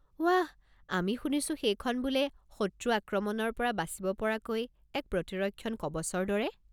ৱাহ। মই শুনিছো সেইখন বোলে শত্ৰু আক্ৰমণৰ পৰা বাচিব পৰাকৈ এক প্ৰতিৰক্ষণ কৱচৰ দৰে।